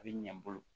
A bɛ ɲɛ n bolo